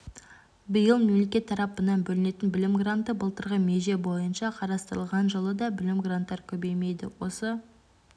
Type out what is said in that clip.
биыл мемлекет тарапынан бөлінетін білім гранты былтырғы меже бойынша қарастырылған жылы да білім гранттары көбеймейді осы